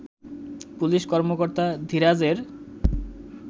police কর্মকর্তা ধীরাজের